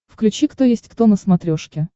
включи кто есть кто на смотрешке